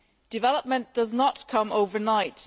Development does not come overnight.